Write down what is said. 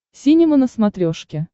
синема на смотрешке